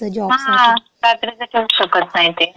हां. रात्रीचं ठेवूच शकत नाही ते.